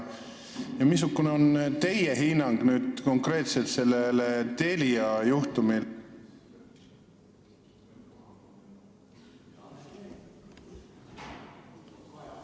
Missugune on teie hinnang konkreetselt sellele Telia juhtumile?